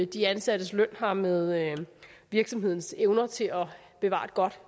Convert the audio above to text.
de ansattes løn har med virksomhedens evner til at bevare et godt